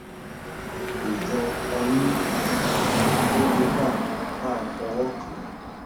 kò jọ ọyún àmọ ó le bá a bá fọwọ kàn án